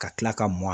Ka tila ka mɔn